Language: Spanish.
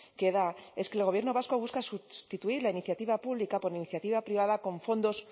que da es que el gobierno vasco busca sustituir la iniciativa pública por la iniciativa privada con fondos